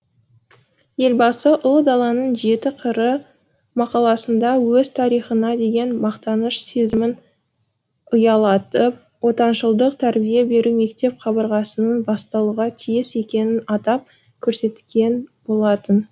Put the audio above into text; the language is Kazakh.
елбасы ұлы даланың жеті қыры мақаласында өз тарихына деген мақтаныш сезімін ұялатып отаншылдық тәрбие беру мектеп қабырғасының басталуға тиіс екенін атап көрсеткен болатын